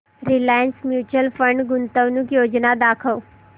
Reliance mutual fund गुंतवणूक योजना दाखव